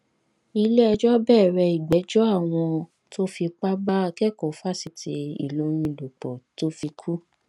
iléẹjọ bẹrẹ ìgbẹjọ àwọn tó fipá bá akẹkọọ fásitì ìlọrin lò pọ tó fi kú